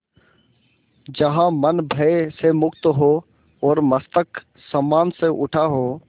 जहाँ मन भय से मुक्त हो और मस्तक सम्मान से उठा हो